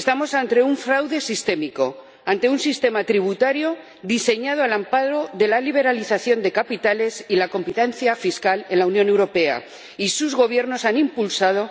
Estamos ante un fraude sistémico, ante un sistema tributario diseñado al amparo de la liberalización de capitales y la competencia fiscal en la Unión Europea, y sus gobiernos han fomentado